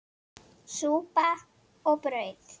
Súpa og brauð.